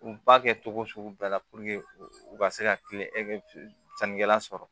U ba kɛ cogo sugu bɛɛ la u ka se ka kilen sannikɛla sɔrɔ